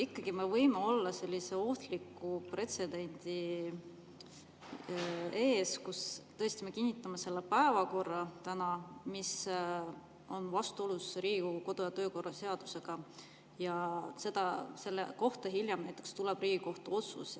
Kas me võime ikkagi olla sellise ohtliku pretsedendi ees, kus me tõesti kinnitame täna selle päevakorra, mis on vastuolus Riigikogu kodu‑ ja töökorra seadusega, ja selle kohta hiljem tuleb Riigikohtu otsus?